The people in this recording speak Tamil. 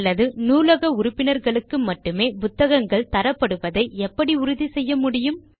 அல்லது நூலக உறுப்பினர்களுக்கு மட்டுமே புத்தகங்கள் தரப்படுவதை எப்படி உறுதி செய்ய முடியும்